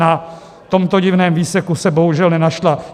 Na tomto divném výseku se bohužel nenašla.